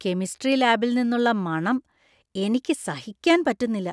Chemistry ലാബിൽ നിന്നുള്ള മണം എനിക്ക് സഹിക്കാൻ പറ്റുന്നില്ല.